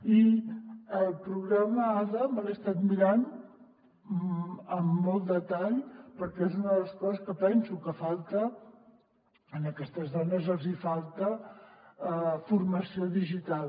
i el programa ada me l’he estat mirant amb molt detall perquè és una de les coses que penso que falta a aquestes dones els hi falta formació digital